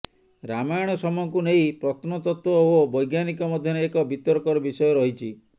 ରାମାୟଣ ସମୟକୁ ନେଇ ପତ୍ନତତ୍ତ୍ବ ଓ ବୈଜ୍ଞାନିକ ମଧ୍ୟରେ ଏକ ବିତର୍କର ବିଷୟ ରହିଛି